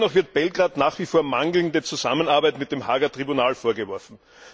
Dennoch wird Belgrad nach wie vor mangelnde Zusammenarbeit mit dem Haager Tribunal vorgeworfen.